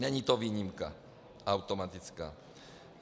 Není to výjimka, automatická.